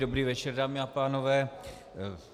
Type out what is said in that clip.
Dobrý večer, dámy a pánové.